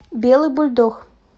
белый бульдог